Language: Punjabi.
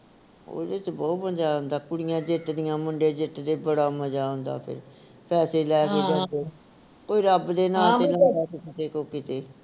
ਉਹਦੇ ਵਿਚ ਬਹੁਤ ਮਜਾ ਆਉਦਾ ਕੁੜੀਆਂ ਜਿੱਤਦੀਆਂ ਮੁੰਡੇ ਜਿੱਤਦੇ ਬੜਾ ਮਜਾ ਆਉਂਦਾ ਫਿਰ ਪੈਸੇ ਲੈ ਕੇ ਜਾਂਦੇ ਕੋਈ ਰੱਬ ਦੇ ਨਾਂ ਤੇ ਲਾਉਂਦਾ ਕੋਈ ਕਿਤੇ ਕੋਈ ਕਿਤੇ